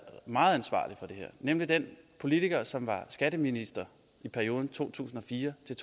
meget ansvarlig for det her nemlig den politiker som var skatteminister i perioden to tusind og fire til